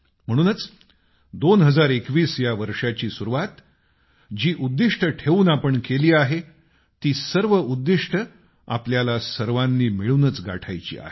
म्हणूनच 2021 या वर्षाची सुरुवात जी उद्दिष्ट ठेवून आपण केली आहे ती सर्व उद्दिष्ट आपल्याला सर्वांनी मिळूनच गाठायची आहेत